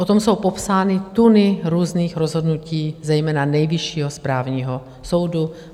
O tom jsou popsány tuny různých rozhodnutí, zejména Nejvyššího správního soudu.